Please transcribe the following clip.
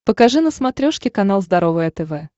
покажи на смотрешке канал здоровое тв